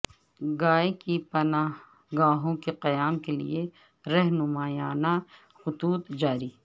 گائے کی پناہ گاہوں کے قیام کیلئے رہنمایانہ خطوط جاری